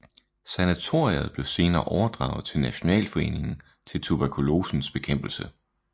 Sanatoriet blev senere overdraget til Nationalforeningen til Tuberkulosens Bekæmpelse